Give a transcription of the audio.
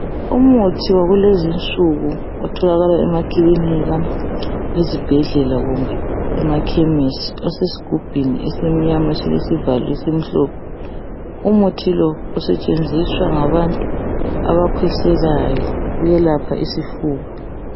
Umuthi wakulezi nsuku otholakala emakilinika , ezibhedlela kumbe emaKhemisi osesigubhini esimnyama esilesivalo esimhlophe. Umuthi lo usetshenziswa ngabantu abakhwehlelayo. Uyelapha isifuba.